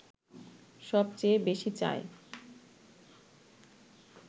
সব চেয়ে বেশি চায়